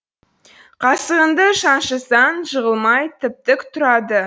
қасығыңды шаншысаң жығылмай тіп тік тұрады